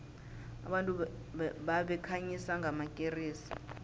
abantu babekhanyisa ngamakeresi